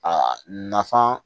Aa nafan